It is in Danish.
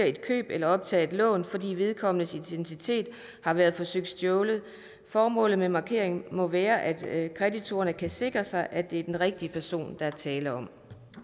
et køb eller optage et lån fordi vedkommendes identitet har været forsøgt stjålet formålet med markeringen må være at kreditorerne kan sikre sig at det er den rigtige person der er tale om